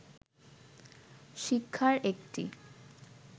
শিক্ষার একটি